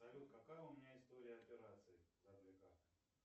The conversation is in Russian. салют какая у меня история операций за две карты